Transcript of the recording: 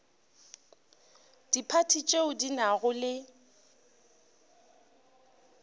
diphathi tšeo di nago le